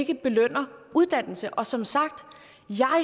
ikke belønner uddannelse og som sagt